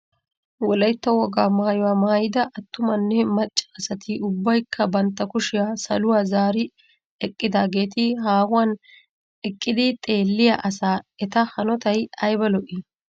Wolaytta wogaa maayuwaa maayida Attumanne macca asati ubbaykka bantta kushiyaa saluwaa zaari eqqidaageeti haahuwan eqqidi xeelliyaa asaa eta hanotay ayba lo"ii!